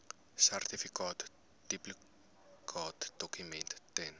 sertifikaat duplikaatdokument ten